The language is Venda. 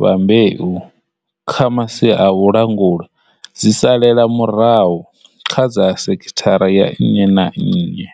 vha mbeu kha masia a vhulanguli dzi salela murahu kha dza sekithara ya nnyi na nnyi.